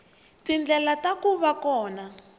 tindlela ta ku va kona